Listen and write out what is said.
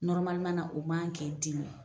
na o man kan k'e dimi.